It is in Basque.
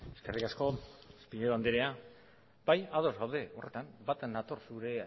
eskerrik asko pinedo andrea bai ados gaude horretan bat nator zure